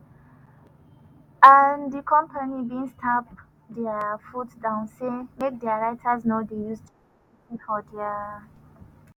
and di company bin stamp dia foot down say make dia writers no dey use chat gpt for dia.